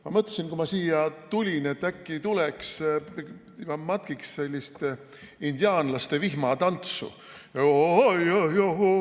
Ma mõtlesin, kui ma siia tulin, et äkki tuleks ja matkiks sellist indiaanlaste vihmatantsu.